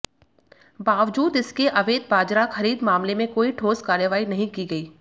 बावजूद इसके अवैध बाजरा खरीद मामले में कोई ठोस कार्रवाई नहीं की गई